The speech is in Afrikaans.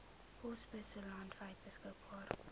posbusse landwyd beskikbaar